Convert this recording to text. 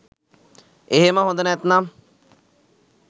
එහෙම හොඳ නැත්නම්